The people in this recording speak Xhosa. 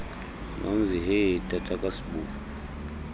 nomzi hee tatakasibu